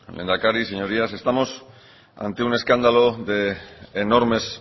lehendakari señorías estamos ante un escándalo de enormes